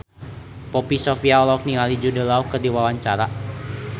Poppy Sovia olohok ningali Jude Law keur diwawancara